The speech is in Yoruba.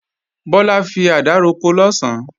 Bọ́lá fi àdá roko lọ̀sán